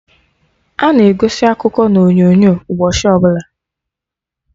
Ana egosi akụkọ na onyonyo ụbọchị ọbụla